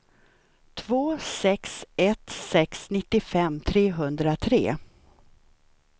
två sex ett sex nittiofem trehundratre